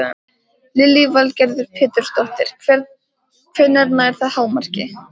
Lillý Valgerður Pétursdóttir: Hvenær nær það hámarki?